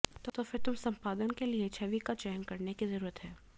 तो फिर तुम संपादन के लिए छवि का चयन करने की जरूरत है